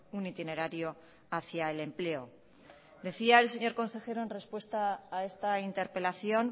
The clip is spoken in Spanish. un itinerario hacía el empleo decía el señor consejero en respuesta a esta interpelación